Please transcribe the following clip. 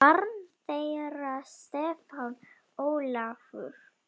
Barn þeirra Stefán Ólafur.